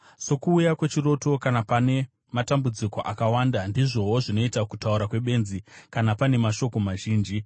Sokuuya kwechiroto kana pane matambudziko akawanda ndizvowo zvinoita kutaura kwebenzi kana pane mashoko mazhinji.